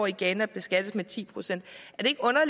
i ghana beskattes med ti procent